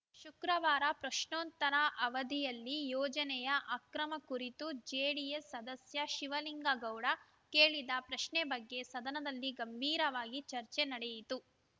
ಶುಕ್ರವಾರ ಪ್ರಶ್ನೋತ್ತರ ಅವಧಿಯಲ್ಲಿ ಯೋಜನೆಯ ಅಕ್ರಮ ಕುರಿತು ಜೆಡಿಎಸ್‌ ಸದಸ್ಯ ಶಿವಲಿಂಗ ಗೌಡ ಕೇಳಿದ ಪ್ರಶ್ನೆ ಬಗ್ಗೆ ಸದನದಲ್ಲಿ ಗಂಭೀರವಾಗಿ ಚರ್ಚೆ ನಡೆಯಿತು